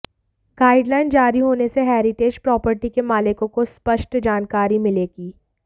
guideline जारी होने से हेरिटेज प्रॉपर्टी के मालिकों को स्पष्ट जानकारी मिलेगी